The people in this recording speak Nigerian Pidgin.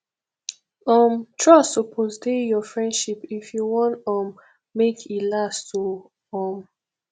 um trust suppose dey your friendship if you wan um make e last oo um